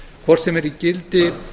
hvort sem í gildi